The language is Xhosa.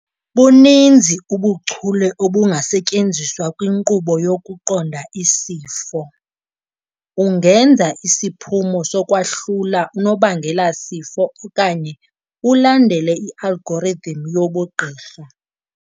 Buninzi ubuchule obungasetyenziswa kwinqkubo yokuqonda isifo, ungenza isiphumo sokwahlula unobangelasifo okanye ulandele i-algorithm yobugqirha.